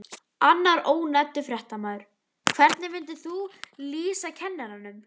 Annar ónefndur fréttamaður: Hvernig myndir þú lýsa kennaranum?